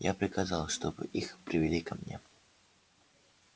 я приказал чтобы их привели ко мне